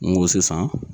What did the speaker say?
N go sisan